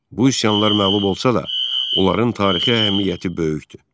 Bu üsyanlar məğlub olsa da, onların tarixi əhəmiyyəti böyükdür.